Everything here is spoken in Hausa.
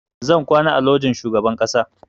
Zan kwana a lojin shugaban ƙasa